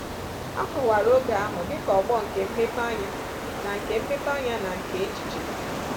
A kọwara oge ahụ dị ka ọgbọ nke mmepeanya na nke mmepeanya na nke echiche.